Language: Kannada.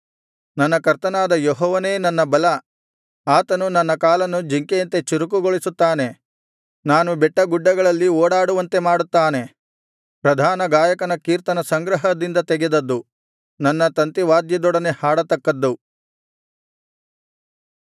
ನನ್ನ ಕರ್ತನಾದ ಯೆಹೋವನೇ ನನ್ನ ಬಲ ಆತನು ನನ್ನ ಕಾಲನ್ನು ಜಿಂಕೆಯಂತೆ ಚುರುಕುಗೊಳಿಸುತ್ತಾನೆ ಬೆಟ್ಟ ಗುಡ್ಡಗಳನ್ನು ಚುರುಕಾಗಿ ಓಡಲು ನನ್ನನ್ನು ಸಮರ್ಥನನ್ನಾಗಿಸುತ್ತಾನೆ ಪ್ರಧಾನ ಗಾಯಕನ ಕೀರ್ತನಸಂಗ್ರಹದಿಂದ ತೆಗೆದದ್ದು ನನ್ನ ತಂತಿವಾದ್ಯದೊಡನೆ ಹಾಡತಕ್ಕದ್ದು